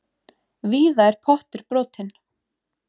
Víða er pottur brotinn.